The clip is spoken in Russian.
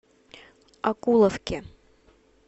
окуловке